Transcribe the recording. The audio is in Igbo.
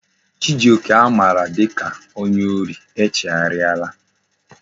Chijioke a mara dika onye ori echegharia la